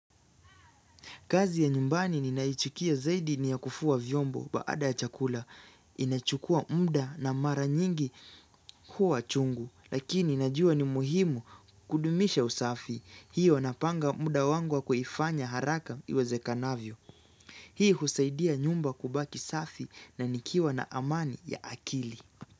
Kazi ya nyumbani ninaichukia zaidi ni ya kufua vyombo baada ya chakula. Inachukua muda na mara nyingi huwa chungu. Lakini najua ni muhimu kudumisha usafi. Hiyo napanga muda wangu wa kuifanya haraka iwezekanavyo. Hii husaidia nyumba kubaki safi na nikiwa na amani ya akili.